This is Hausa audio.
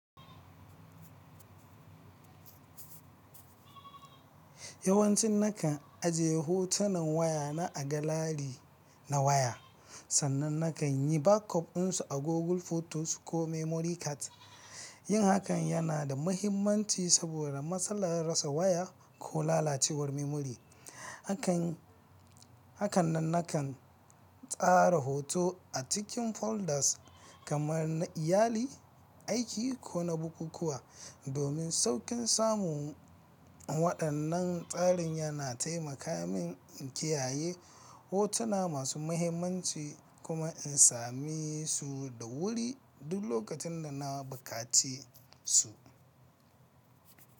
Yawancin na kan ajiye hotunan wayana a galari na waya, sannan na kan yi back up ɗinsu a Google Photos ko memory card. Yin hakan yana da mahimmanci saboda matsalar rasa waya ko lalacewar memory. Hakan nan na kan tsara hotuna a cikin folders kamar na iyali, aiki ko na bukukuwa domin sauƙin samu. Waɗannan tsarin yana taimaka min in kiyaye hotuna masu mahimmanci kuma in same su da wuri duk lokacin da na buƙaci su.